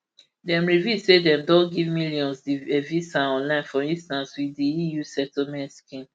dem reveal say dem don give millions di evisa online for instance wit di eu settlement scheme